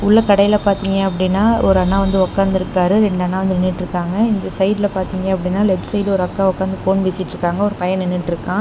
உள்ள கடைல பாத்தீங்க அப்படின்னா ஒரு அண்ணா வந்து உக்காந்துருக்காரு ரெண்டு அண்ணா வந்து நின்னுட்டுருக்காங்க இந்த சைடுல பாத்தீங்க அப்படின்னா லெஃப்ட் சைடு ஒரு அக்கா உக்காந்து ஃபோன் பேசிட்டுருக்காங்க ஒரு பையன் நின்னுட்டுருக்கா.